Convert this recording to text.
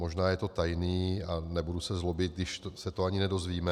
Možná je to tajné a nebudu se zlobit, když se to ani nedozvíme.